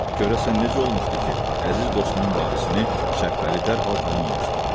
Görəsən necə olmuşdu ki, əziz dostunun varisini Şəbbəli dərhal tanımamışdı.